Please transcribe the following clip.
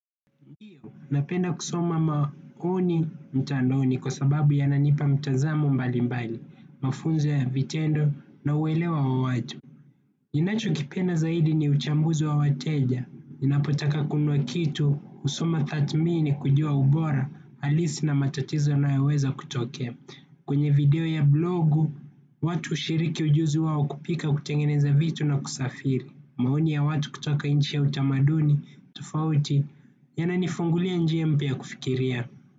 Napenda kusoma maoni mtandaoni kwa sababu yananipa mtanzamo mbali mbali, mafunzo vitendo na uelewa wa watu. Ninachokipenda zaidi ni uchambuzi wa wateja. Ninapotaka kunuanua kitu, husoma tathmini kujua ubora, halisi na matatizo yanayoweza kutokea. Kwenye video ya blogu, watu hushiriki ujuzi wao kupika, kutengeneza vitu na kusafiri. Maoni ya watu kutoka nchi ya utamaduni, tofauti, yananifungulia njia mpya ya kufikiria.